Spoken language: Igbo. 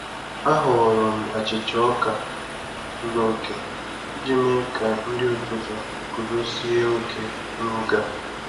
A họọrọ m achịcha ọka zuru oke iji mee ka nri ụtụtụ guzozie oke n'oge a.